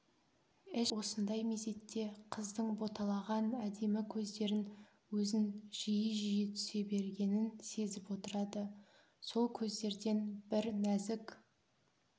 эшерест осындай мезетте қыздың боталаған әдемі көздері өзін жиі-жиі түсе бергенін сезіп отырады сол көздерден бір нәзік